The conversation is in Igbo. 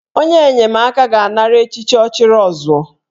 Onye enyemaka ga-anara echichi 'Ọchịrịọzụọ'